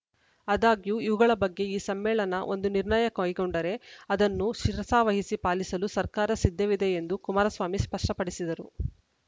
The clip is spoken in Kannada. ಆದಾಗ್ಯೂ ಇವುಗಳ ಬಗ್ಗೆ ಈ ಸಮ್ಮೇಳನ ಒಂದು ನಿರ್ಣಯ ಕೈಗೊಂಡರೆ ಅದನ್ನು ಶಿರಸಾವಹಿಸಿ ಪಾಲಿಸಲು ಸರ್ಕಾರ ಸಿದ್ಧವಿದೆ ಎಂದು ಕುಮಾರಸ್ವಾಮಿ ಸ್ಪಷ್ಟಪಡಿಸಿದರು